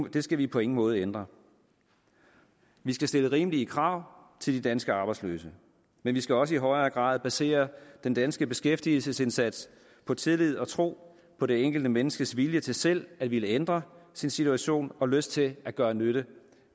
og det skal vi på ingen måde ændre vi skal stille rimelige krav til de danske arbejdsløse men vi skal også i højere grad basere den danske beskæftigelsesindsats på tillid og tro på det enkelte menneskes vilje til selv at ville ændre sin situation og lyst til at gøre nytte